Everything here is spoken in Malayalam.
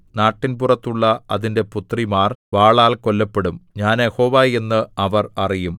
നാട്ടിൻപുറത്തുള്ള അതിന്റെ പുത്രിമാർ വാളാൽ കൊല്ലപ്പെടും ഞാൻ യഹോവ എന്ന് അവർ അറിയും